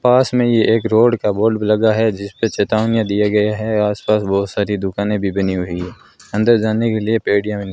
पास में ये एक रोड का बोर्ड भी लगा है जिस पे चेतावनियां दिया गया है आसपास बहोत सारी दुकानें भी बनी हुई है अंदर जाने के लिए बनी --